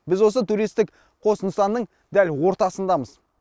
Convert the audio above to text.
біз осы туристтік қос нысанның дәл ортасындамыз